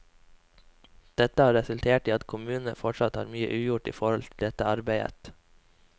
Dette har resultert i at kommunene fortsatt har mye ugjort i forhold til dette arbeidet.